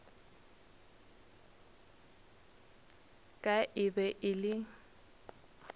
ka e be e le